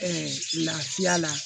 Ɛɛ lafiya la